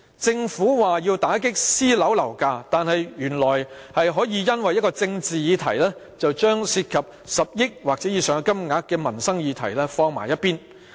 政府說要打擊私人樓宇的樓價，但原來當局可以因為一個政治議題，擱置一項涉及10億元或以上金額的民生議題。